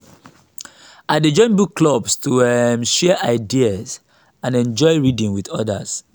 i dey join book clubs to um share ideas and enjoy reading with others.